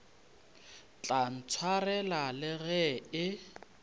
tla ntshwarela le ge e